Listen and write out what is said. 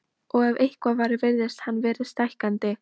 Og ef eitthvað var virtist hann fara stækkandi.